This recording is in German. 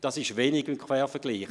Das ist wenig im Quervergleich.